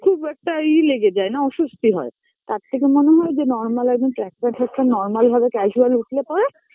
খুব একটা ই লেগে যায় না অস্বস্তি হয় তার থেকে মনে হয় যে Normal একদম track pant ফ্রাক প্যান্ট normal ভাবে casual উঠলে পরে